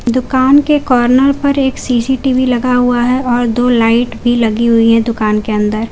दुकान के कॉर्नर पर एक सी_सी_टी_वी लगा हुआ है और दो लाइट भी लगी हुई है दुकान के अंदर।